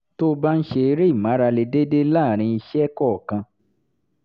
tó o bá ń ṣe eré ìmárale déédéé láàárín iṣẹ́ kọ̀ọ̀kan